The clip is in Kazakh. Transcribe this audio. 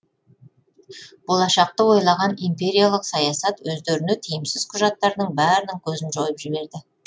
болашақты ойлаған империялық саясат өздеріне тиімсіз құжаттардың бәрінің көзін жойып жіберді